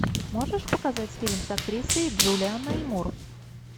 можешь показать фильм с актрисой джулианой мур